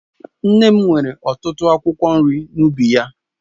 Nne m nwere ọtụtụ akwụkwọ nri n'ubi ya